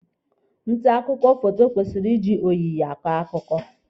Nta akụkọ foto kwesịrị iji oyiyi akọ akụkọ.